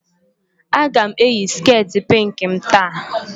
Aga m eyi sket pink m taa